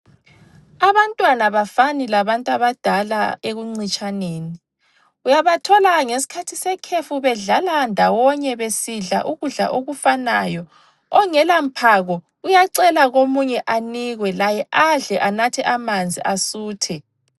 Abantwana abafani labantu abadala ekuncitshaneni. Uyabathola ngesikhathi sekhefu bedlala ndawonye besidla ukudla okufanayo. Ongela mphako uyacela komunye anikwe, laye adle anathe amanzi asuthe.